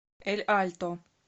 эль альто